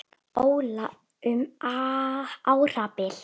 Óla um árabil.